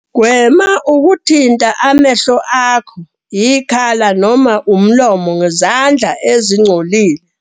.gwema ukuthinta amehlo akho, ikhala noma umlomo ngezandla ezingcolile.